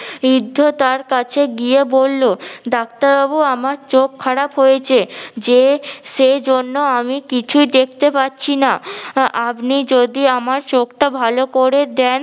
বৃদ্ধ তার কাছে গিয়ে, বললো ডাক্তার বাবু আমার চোখ খারাপ হয়েছে যে সে জন্য আমি কিছুই দেখতে পাচ্ছি না। আপনি যদি আমার চোখটা ভালো করে দেন